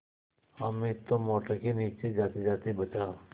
हामिद तो मोटर के नीचे जातेजाते बचा